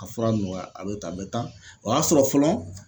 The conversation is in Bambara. A fura nɔgɔya , a bɛ tan ,a bɛ tan ,o y'a sɔrɔ fɔlɔ